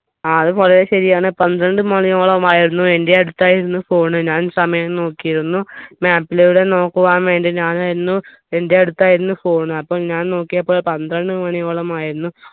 ആ അത് വളരെ ശരിയാണ് പന്ത്രണ്ടു മണിയോളമായിരുന്നു എന്റെ അടുത്തായിരുന്നു phone ഞാൻ സമയം നോക്കിയിരുന്നു map ലൂടെ നോക്കുവാൻ വേണ്ടി ഞാനായിരുന്നു എന്റെ അടുത്തായിരുന്നു phone അപ്പോൾ ഞാൻ നോക്കിയപ്പോൾ പന്ത്രണ്ട് മണിയോളമായിരുന്നു